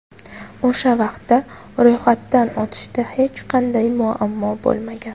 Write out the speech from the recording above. O‘sha vaqtda ro‘yxatdan o‘tishda hech qanday muammo bo‘lmagan.